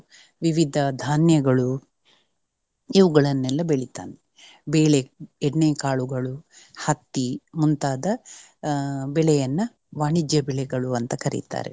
ವಿವಿಧ ಧಾನ್ಯಗಳು ಇವುಗಳನ್ನೆಲ್ಲ ಬೆಳಿತಾನೆ. ಬೆಳೆ, ಎಣ್ಣೆ ಕಾಳುಗಳು, ಹತ್ತಿ ಮುಂತಾದ ಬೆಳೆಯನ್ನು ವಾಣಿಜ್ಯ ಬೆಳೆಗಳು ಅಂತ ಕರಿತಾರೆ.